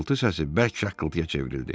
Xırıltı səsi bərk şaqqıltıya çevrildi.